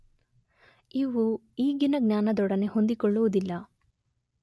ಇವು ಈಗಿನ ಜ್ಞಾನದೊಡನೆ ಹೊಂದಿಕೊಳ್ಳುವುದಿಲ್ಲ.